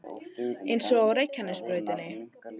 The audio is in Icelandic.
Eins og á Reykjanesbrautinni